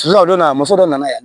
a donna muso dɔ nana yan